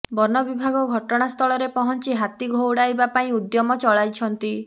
ବିନବିଭାଗ ଘଟଣା ସ୍ଥଳରେ ପହଞ୍ଚି ହାତୀ ଘଉଡାଉବା ପାଇଁ ଉଦ୍ୟମ ଚଳାଛନ୍ତି